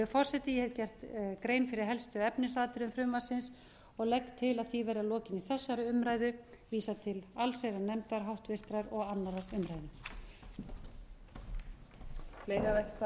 forseti ég hef gert grein fyrir helstu efnisatriðum frumvarpsins og legg til að því verði að lokinni þessari umræðu vísað til háttvirtrar allsherjarnefndar og annarrar umræðu